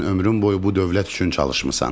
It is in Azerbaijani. Sən ömrün boyu bu dövlət üçün çalışmısan.